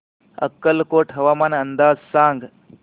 अक्कलकोट हवामान अंदाज सांग